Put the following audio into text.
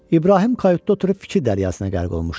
İbrahim qayutda oturub fikir dəryasına qərq olmuşdu.